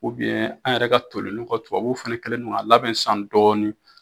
an yɛrɛ ka tolilen ninnu, tubabuw fana kelen bɛ k'a labɛn sisan dɔɔnin